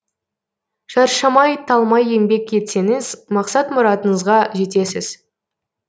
шаршамай талмай еңбек етсеңіз мақсат мұратыңызға жетесіз